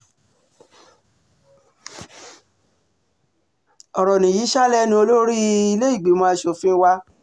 ọ̀rọ̀ nìyí ṣáá lẹ́nu olórí ilé-ìgbìmọ̀ asòfin wa